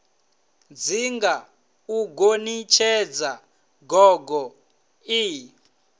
dzinga u gonitshedza gogo ie